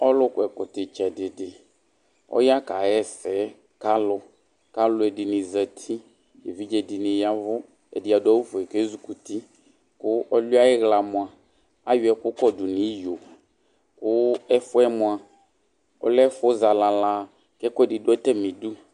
Ɔlu kɔ ɛkɔtɔ itsɛdi di ɔya kaɣa ɛsɛ kalu kaluɛdini zati evidze dini yavʋ ɛdini adu awu ofue ku ezikuti ku ɔliɛ ayi ɣla mua ayɔ ɛku kɔdu nu iyo ku ɛfuɛ mua ɔlɛ zalala nu atamidu